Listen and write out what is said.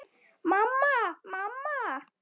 Mamma, mamma.